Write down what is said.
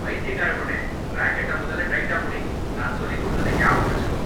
பைத்தியக்கார பொண்ணே. ரேக்கெட்ட முதல்ல டைட்டா புடி. நான் சொல்லிக் குடுத்ததை நியாபகம் வெச்சுக்கோ.